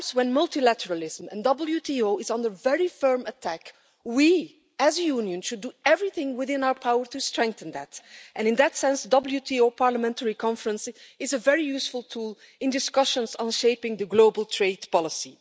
At times when multilateralism and the WTO is under very firm attack, we as a Union should do everything within our power to strengthen that, and in that sense the WTO Parliamentary Conference is a very useful tool in discussions on shaping global trade policy.